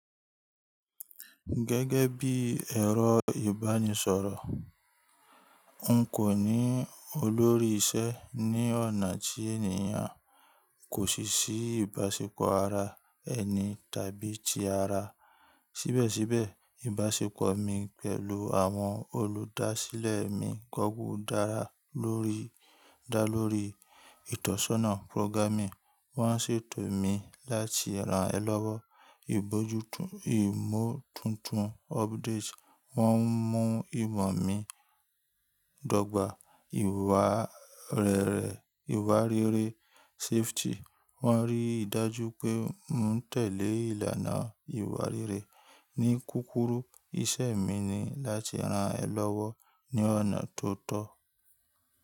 Gẹ́gẹ́ bí ẹ̀rọ ìbánisọ̀rọ̀, n kò ní olórí iṣẹ́ ní ọ̀nà tí ènìyàn kò ṣe sí ìbáṣepọ̀ ara ẹni tàbí ti ara. Síbẹ̀síbẹ̀, ìbáṣepọ̀ mi pẹ̀lú àwọn olùdásílẹ̀ mi gọ́gùn dá lórí, dá lórí ìtọ́sọ́nà pórógámì. Wọ́n ṣètò mi láti ran ẹ lọ́wọ́, ìbójútó ìmọ̀ tuntun, ọ́pdate, wọ́n ń mú ìmọ̀ mi dọ́gba, ìwà rere, ìwà rere, safety. Wọ́n rí i dájú pé n tẹ̀lé ìlànà ìwà rere. Ní kúkúklrù, iṣẹ́ mi ni láti ran ẹ lọ́wọ́ ní ọ̀nà tó tọ́.